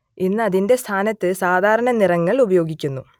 ഇന്ന് അതിന്റെ സ്ഥാനത്ത് സാധാരണ നിറങ്ങൾ ഉപയോഗിക്കുന്നു